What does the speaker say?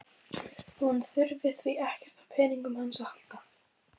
Hún þurfi því ekkert á peningunum hans að halda.